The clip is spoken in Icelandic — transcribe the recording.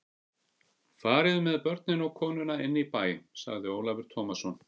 Fariði með börnin og konuna inn í bæ, sagði Ólafur Tómasson.